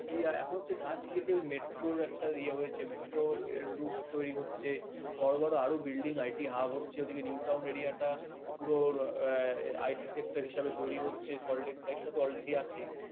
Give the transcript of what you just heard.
গাছ কেটে ওই metro র একটা metro root তৈরি হচ্ছে বড় বড় আরো building IT hub হচ্ছে ওইদিকে new town area টা পুরো IT sector হিসেবে তৈরী হচ্ছে একটা তো already আছেই